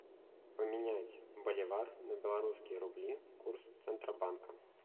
поменять боливар на белорусские рубли курс центробанка